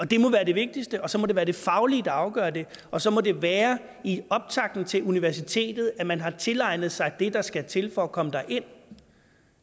det må være det vigtigste og så må det være det faglige der afgør det og så må det være i optakten til universitetet at man har tilegnet sig det der skal til for at komme derind